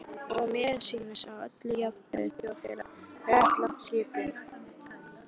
Og mér sýnist á öllu, að jafnaðarþjóðfélagið sé réttlát skipan.